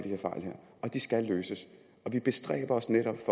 og det skal løses og vi bestræber os netop